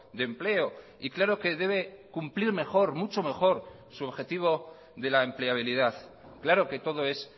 de empleo y claro que debe cumplir mejor mucho mejor su objetivo de la empleabilidad claro que todo es